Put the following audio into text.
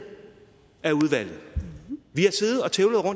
af udvalget